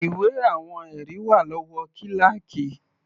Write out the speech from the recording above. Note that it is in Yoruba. Ìwé àwọn ẹ̀rí wà lọ́wọ́ kíláákì.